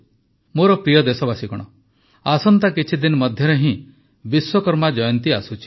ମୋର ପ୍ରିୟ ଦେଶବାସୀଗଣ ଆସନ୍ତା କିଛିଦିନ ମଧ୍ୟରେ ହିଁ ବିଶ୍ୱକର୍ମା ଜୟନ୍ତୀ ଆସୁଛି